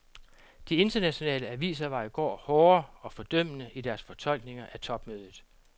De internationale aviser var i går hårde og fordømmende i deres fortolkninger af topmødet.